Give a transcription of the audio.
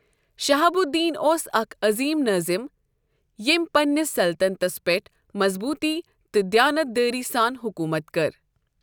شِہاب الدین اوس اکھ عٔظیٖم نٲظِم ییٚمۍ پنٛنِس سلطنتس پیٚٹھ مضبوٗطی تہٕ دیانت دٲری سان حُکوٗمت کٔر۔